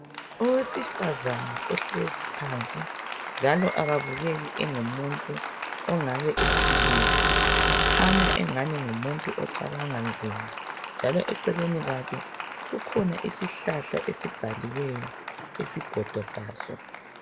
Owesifazana ohlezi phansi njalo ekabukeki ongumuntu ongabe ephilile . Ukhanya engani ngumuntu ocabanga nzima, njalo eceleni kwakhe kukhona isihlahla esibhaliweyo isigondo season.